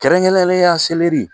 Kɛrɛnkɛrɛnnenya seleri